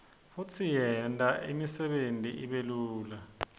futsi yenta imsebenti ibelula